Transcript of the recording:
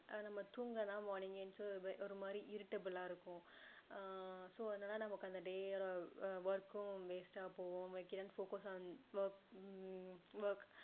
நம்ம தூங்கலனா morning எழுந்துச்சு ஒரு மாதிரி irritable லா இருக்கும் ஆஹ் so அதனால நமக்கும் அந்த day work கும் waste டா போகும் we cannot focus on work hmm work